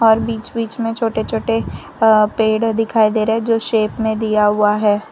और बीच बीच में छोटे छोटे अ पेड़ दिखाई दे रहे हैं जो शेप में दिया हुआ है।